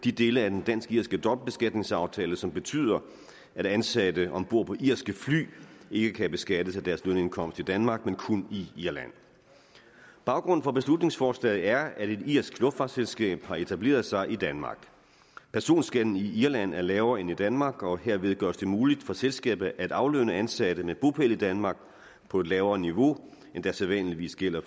de dele af den dansk irske dobbeltbeskatningsaftale som betyder at ansatte om bord på irske fly ikke kan beskattes af deres lønindkomst i danmark men kun i irland baggrunden for beslutningsforslaget er at et irsk luftfartsselskab har etableret sig i danmark personskatten i irland er lavere end i danmark og herved gøres det muligt for selskabet at aflønne ansatte med bopæl i danmark på et lavere niveau end der sædvanligvis gælder